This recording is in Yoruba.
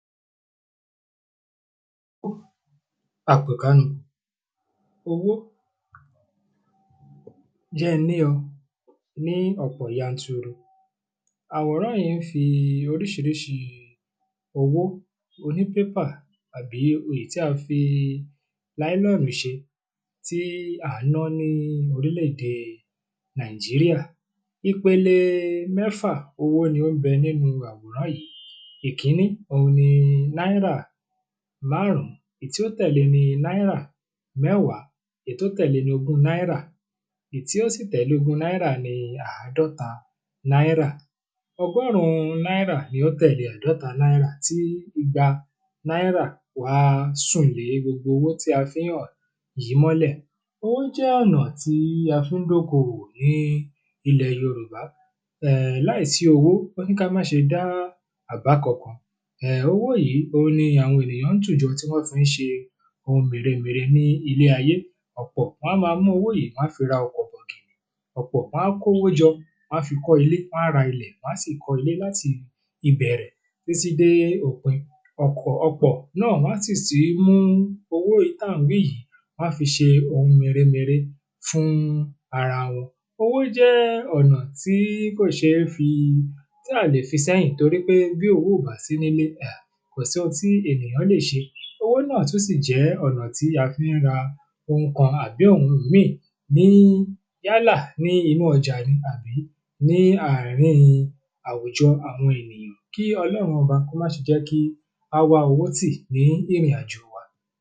owó àpèkánu, owó jẹ́ n ní ọ ní ọ̀pọ̀ yanturu àwòrán yìí ń fi oríṣiríṣi owó oní pépà àbí èyí tí a fi láílọ́nù ṣe tí à ń ná ní orílẹ̀ èdè nàìjíríà ipele mẹ́fà owó ni ó ń bẹ nínu àwòrán yìí, ìkíní òhun ni Náírà márùn ún èyí tí ó tẹ̀le ni náírà mẹ́wàá, èyí tó tẹ̀le ni ogún náírà, ìyí tí ó sì tẹ̀le ogún náírà ni àádọ́ta náírà ọgọ́rùn ún náírà ní ó tẹ̀lé àádọ́ta náírà tí igba náírà wá sùn lé gbogbo owó tí a fí ń hàn yìí mọ́lẹ̀ owó jẹ́ ọ̀nà tí a fi ń dóko òwò ní ilẹ̀ yorùbá, láìsí owó wọ́n ní ká má ṣe dá àbá kan kan owó yìí òhun ni àwọn ènìyàn ń tù jọ tí wọ́n fi ń ṣe ohun mère mère ní ilé ayé, ọ̀pọ̀ wọ́n á máa mú owó yìí wọ́n á fi ra ọkọ̀ bọ̀gìnì ọ̀pọ̀ wọ́n á kówó jọ wọ́n á fi kọ́ ilé, wọ́n á ra ilẹ̀ wọ́n á sì kọ́ ilé láti ìbẹ̀rẹ̀ títí dé òpin ọ̀pọ̀ náà wọ́n á sì tún mú owó táà ń wí yìí wọ́n á fi ṣe ohun mère mère fún ara wọn owó jẹ́ ọ̀nà tí à lè fi séyìn torí pé tí owó ò bá sí nílé kò sí ohun tí ènìyàn lè ṣe owó náà tún sì jẹ́ ọ̀nà tí a fi ń ra ohun kan àbí ohùn míì yálà ní inú ọjà ni àbí ní àárin àwùjọ àwọn ènìyàn kí ọlọ́run ọba kí ó má ṣe jẹ́ kí á wá owó tì ní ìrìn àjò wa.